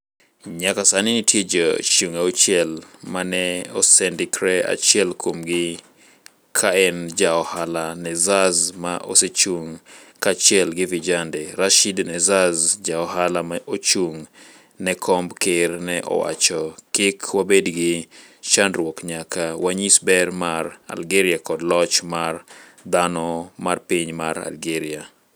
nyaka sani nitie jo chung 6 ma ne osendikre achiel kuom gi ka en ja ohala Nezzaz ma osechung kanyachiel gi vijende. Rashid Nezzaz ja ohala ma ochung ne komb ker ne owacho. kik wabed gi chandruok nyaka wanyis ber mar Algeria koda loch mar dhano mar piny mar Algeria